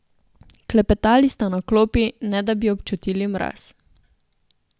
Klepetali sta na klopi, ne da bi občutili mraz.